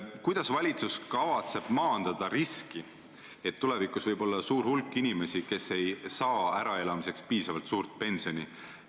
Kuidas valitsus kavatseb maandada riski, et tulevikus võib olla suur hulk inimesi, kes ei saa äraelamiseks piisavalt suurt pensioni?